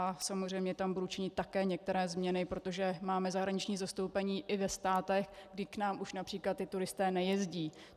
A samozřejmě tam budu činit také některé změny, protože máme zahraniční zastoupení i ve státech, kde k nám už například ti turisté nejezdí.